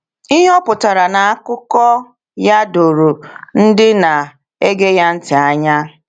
Ihe o pụtara n’akụkọ ya doro ndị na-ege ya ntị anya.